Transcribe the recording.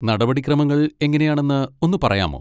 നടപടിക്രമങ്ങൾ എങ്ങനെയാണെന്ന് ഒന്ന് പറയാമോ?